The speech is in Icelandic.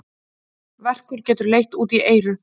Verkur getur leitt út í eyru.